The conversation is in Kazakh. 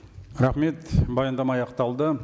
рахмет баяндама аяқталды